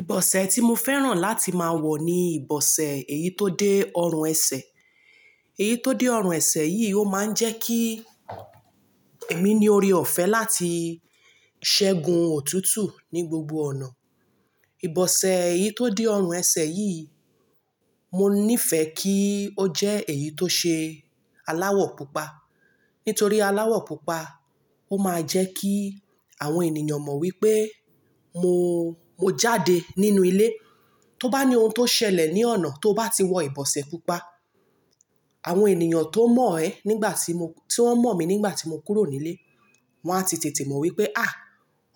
Ìbọ̀sẹ̀ tí mo fẹ́ràn láti máa wọ̀ ni ìbọ̀sẹ̀ èyí tó dé ọrùn ẹsẹ̀. Èyí tó dé ọrùn ẹsẹ̀ yìí ó máa ń jẹ́ kí èmi ni oore ọ̀fẹ́ láti ṣẹgun òtútù ní gbogbo ọ̀nà. Ìbọ̀sẹ̀ èyí tó dé ọrùn ẹsẹ̀ yìí, mo ní fẹ́ kí ó jẹ́ èyí tó ṣe aláwọ̀ pupa. Nítorí aláwọ̀ pupa ó máa jẹ́ kí àwọn ènìyàn mọ̀ wípé mo, mo jáde nínú ilé. Tó bá ní ohun tó ṣẹlẹ̀ ní ọ̀nà tó bá ti wọ ìbọ̀sẹ̀ pupa, àwọn ènìyàn tó mọ̀ ẹ́ nígbà tí mo, tí wón mọ̀ mi nígbà tí mo kúrò nílé, wọn á ti tètè mọ̀ wípé, "à,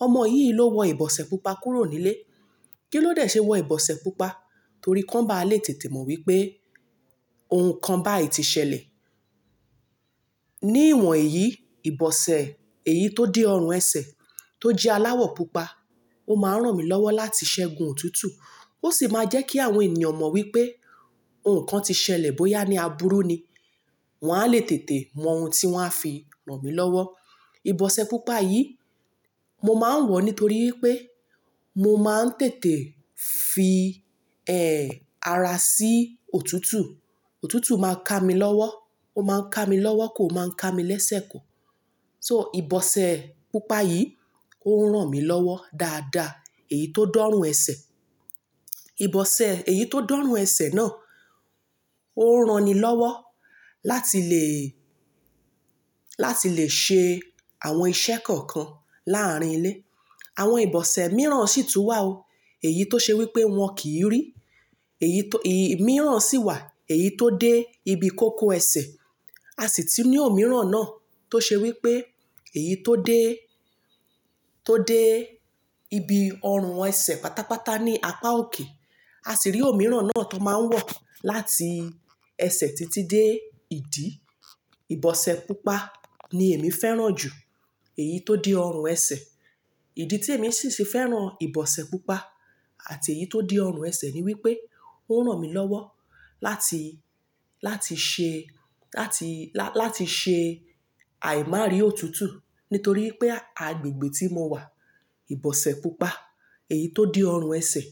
ọmọ yìí ló wọ ìbọ̀sẹ̀ pupa kúrò nílé. Kí ló dé ṣe wọ ìbọ̀sẹ̀ pupa?" Torí kán bá le tètè mọ̀ wípé ohun kan bá ì ti ṣẹlẹ̀. Ní ìwọ̀n yìí, ìbọ̀sẹ̀ èyí tó dé ọrùn ẹsẹ̀ tó jẹ́ aláwọ̀ pupa, ó máa ń ràn mí lọ́wọ́ láti ṣẹ́gun òtútù. Ó sì máa jẹ́ kí àwọn ènìyàn mọ̀ wípé ohun kan ti ṣẹlẹ̀ bóyá ní abúró ni. Wọn á lè tètè mọ ohun tí wọ́n á fi ràn mí lọ́wọ́. Ìbọ̀sẹ̀ pupa yìí, mo máa ń wọ̀ nítorí pé mo máa ń tètè fi, ẹ́, ara sí òtútù. Òtútù máa ń ká mi lọ́wọ́. Ó máa ń ká mi lọ́wọ́ kò máa ń ká mi lẹ́sẹ̀ kò. So ìbọ̀sẹ̀ pupa yìí ó ń ràn mí lọ́wọ́ dáadáa, èyí tó dọ́rùn ẹsẹ̀. Ìbọ̀sẹ̀ èyí tó dọ́rùn ẹsẹ̀ náà ó ń rani lọ́wọ́ láti le, láti le ṣe àwọn iṣẹ́ kọ̀ọ̀kan láàárín ilé. Àwọn ìbọ̀sẹ̀ mìíràn sì tún wà o. Èyí tó ṣe wípé wọn kìí rí. Èyí tó, èyí mìíràn sì wà, èyí tó dé ibi kókó ẹsẹ̀. A sì ti ní òmíràn náà tó ṣe wípé èyí tó dé, tó dé ibi ọrùn ẹsẹ̀ pátápátá ní apá òkè. A sì rí òmíràn náà tó máa ń wọ̀ láti ẹsẹ̀ títí dé ìdí. Ìbọ̀sẹ̀ pupa ni èmi fẹ́ràn jù èyí tó dé ọrùn ẹsẹ̀. Ìdí tí èmi sì ṣe fẹ́ràn ìbọ̀sẹ̀ pupa àti èyí tó dé ọrùn ẹsẹ̀ ni wípé ó ń ràn mí lọ́wọ́ láti, láti ṣe, láti, la-láti ṣe àìmári òtútù nítorí pé agbègbè tí mo wà, ìbọ̀sẹ̀ pupa, èyí tó dé ọrùn ẹsẹ̀,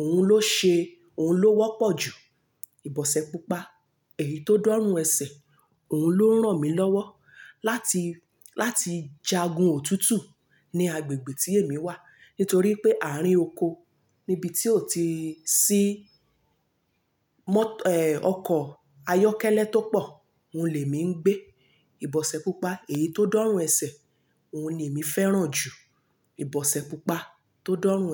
òun ló ṣe, òun ló wọ́pọ̀ jù. Ìbọ̀sẹ̀ pupa, èyí tó dọ́rùn ẹsẹ̀, òun ló ń ràn mí lọ́wọ́ láti, láti jagun òtútù ní agbègbè tí èmi wà nítorí pé àárín oko níbi tí ò ti sí mọ́, ẹ́, ọkọ̀ ayọ́kẹ́lẹ́ tó pọ̀, òun lè mí ń gbé. Ìbọ̀sẹ̀ pupa, èyí tó dánrùn ẹsẹ̀, òun ni èmi fẹ́ràn jù. Ìbọ̀sẹ̀ pupa tó dánrùn ẹsẹ̀.